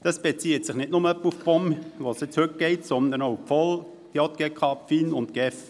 Das betrifft nicht nur die POM, um die es heute geht, sondern auch die VOL, die JGK, die FIN und die GEF.